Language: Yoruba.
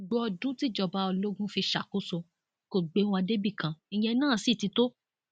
gbogbo ọdún tíjọba ológun fi ṣàkóso kò gbé wa débì kan ìyẹn náà sì ti tó